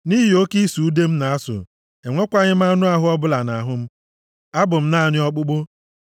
Nʼihi oke ịsụ ude m na-asụ, enwekwaghị m anụ ahụ ọbụla nʼahụ m. Abụ m naanị ọkpụkpụ.